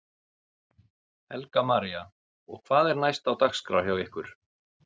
Helga María: Og hvað er næst á dagskrá hjá ykkur?